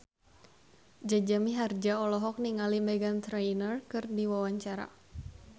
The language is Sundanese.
Jaja Mihardja olohok ningali Meghan Trainor keur diwawancara